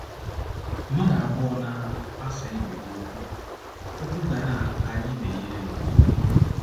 Mmadụ abụọ na - asa ibe ha okwu, okwu ga na - arị ibe ya elu.